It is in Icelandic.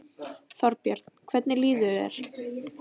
Þorbjörn: Hvernig líður þér?